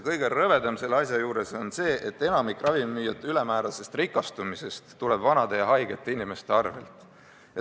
Kõige rõvedam selle asja juures on see, et enamik ravimimüüjate ülemäärasest rikastumisest tuleb vanade ja haigete inimeste arvel.